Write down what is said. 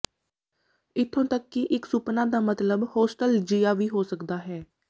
ਇਥੋਂ ਤੱਕ ਕਿ ਇਕ ਸੁਪਨਾ ਦਾ ਮਤਲਬ ਹੋਸਟਲਜੀਆ ਵੀ ਹੋ ਸਕਦਾ ਹੈ